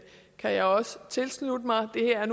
kan jeg også tilslutte mig det her